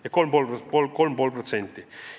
See teeb 3,5%.